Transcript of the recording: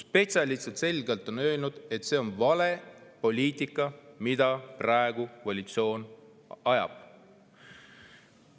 Spetsialistid on selgelt öelnud, et see on vale poliitika, mida koalitsioon praegu ajab.